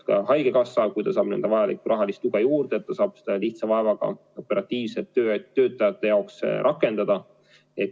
Ka haigekassa, kui ta saab vajalikku rahalist tuge juurde, saab seda lihtsa vaevaga operatiivselt töötajate jaoks rakendada.